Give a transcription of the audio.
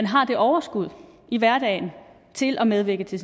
har det overskud i hverdagen til at medvirke til